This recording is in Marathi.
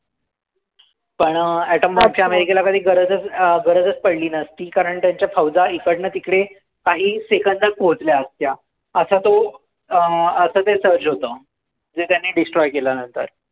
पण atom bomb च्या अमेरिकेला कधी गरजच पडली नसती. कारण त्यांच्या फौजा इकडनं तिकडे काही seconds मध्ये पोहोचल्या असत्या. असा तो, असं ते surge होतं. जे त्यांनी destroy केलं नंतर.